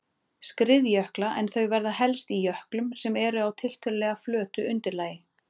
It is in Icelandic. skriðjökla en þau verða helst í jöklum sem eru á tiltölulega flötu undirlagi.